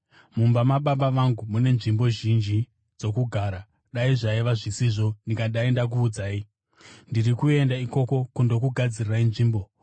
Mumba maBaba vangu mune nzvimbo zhinji dzokugara; dai zvaiva zvisizvo, ndingadai ndakuudzai. Ndiri kuenda ikoko kundokugadzirirai nzvimbo.